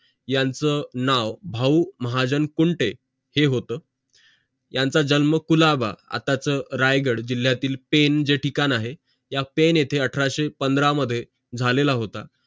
यांचं नाव भाऊ महाजन कुंटे हे होत यांचं जन्म कुलाबा आताच रायगड जिल्यातील जे ठिकाण आहे त्या येते अठराशे पंधरा मध्ये झालेला होता